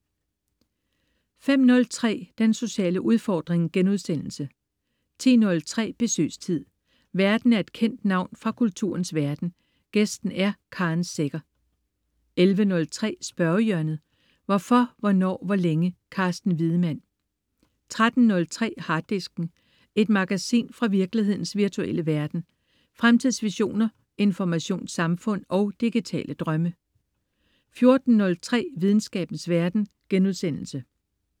05.03 Den sociale udfordring* 10.03 Besøgstid. Værten er et kendt navn fra kulturens verden, gæsten er Karen Secher 11.03 Spørgehjørnet. Hvorfor, hvornår, hvor længe? Carsten Wiedemann 13.03 Harddisken. Et magasin fra virkelighedens virtuelle verden. Fremtidsvisioner, informationssamfund og digitale drømme 14.03 Videnskabens verden*